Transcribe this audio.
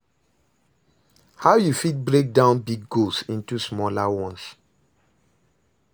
how you fit break down big goals into smaller ones?